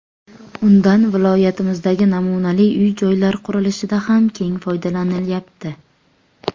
Undan viloyatimizdagi namunali uy-joylar qurilishida ham keng foydalanilyapti.